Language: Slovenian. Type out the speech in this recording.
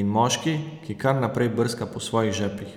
in moški, ki kar naprej brska po svojih žepih.